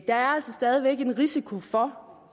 er altså stadig væk en risiko for